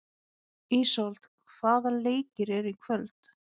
Ísold, hvaða leikir eru í kvöld?